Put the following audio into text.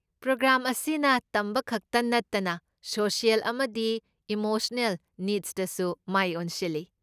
Programme ꯑꯁꯤꯅ ꯇꯝꯕ ꯈꯛꯇ ꯅꯠꯇꯅ ꯁꯣꯁꯤꯑꯦꯜ ꯑꯃꯗꯤ ꯏꯃꯣꯁꯅꯦꯜ ꯅꯤꯗꯁꯇꯁꯨ ꯃꯥꯏ ꯑꯣꯟꯁꯤꯜꯂꯤ꯫